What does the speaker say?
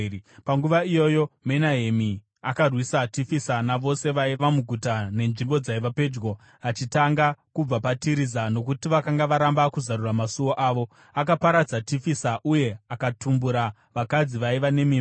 Panguva iyoyo Menahemi, akarwisa Tifisa navose vaiva muguta nenzvimbo dzaiva pedyo, achitanga kubva paTiriza, nokuti vakanga varamba kuzarura masuo avo. Akaparadza Tifisa uye akatumbura vakadzi vaiva nemimba.